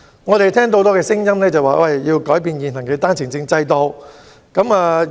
我們聽到很多聲音，要求改變現行單程證制度。